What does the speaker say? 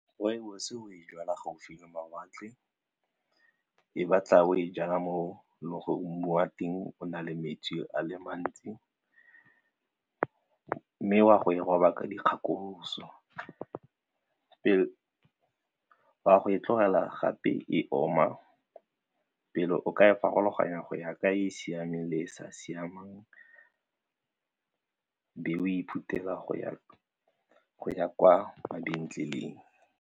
Rooibos o e jala gaufi le mawatle, e batla o e jaana mo le gore mmu wa teng o na le metsi a le mantsi mme wa go e toba ka dikgakologo, o a go e tlogela gape e oma pele o ka e farologanya go ya ka e e siameng le e sa siamang be o ithutela go ya kwa mabenkeleng.